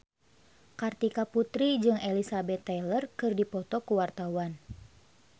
Kartika Putri jeung Elizabeth Taylor keur dipoto ku wartawan